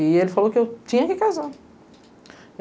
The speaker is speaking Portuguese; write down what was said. E ele falou que eu tinha que casar.